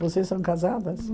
Vocês são casadas?